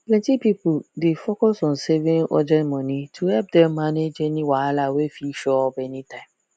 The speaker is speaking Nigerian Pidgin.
plenty people dey focus on saving urgent money to help dem manage any wahala wey fit show up any time